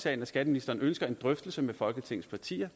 at skatteministeren ønsker en drøftelse med folketingets partier